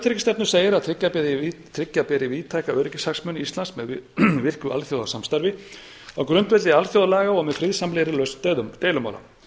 virka utanríkisstefnu segir að tryggja beri víðtæka öryggishagsmuni íslands með virku alþjóðasamstarfi á grundvelli alþjóðalaga og með friðsamlegri lausn deilumála